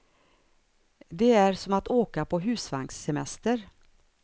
Det är som att åka på husvagnssemester.